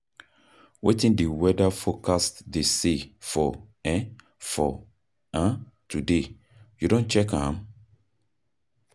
Wetin di weather forecast dey say for today, you don check am?